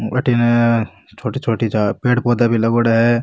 अठने छोटी छोटी पेड़ पौधा भी लागेड़ो है।